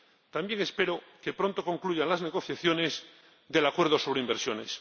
También espero que pronto concluyan las negociaciones del acuerdo sobre inversiones.